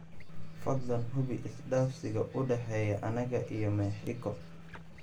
fadlan hubi isdhaafsiga u dhexeeya anaga iyo mexico